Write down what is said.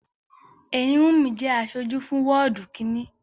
Èyíwùnmí jẹ́ aṣojú fún wọ́ọ̀dù kínni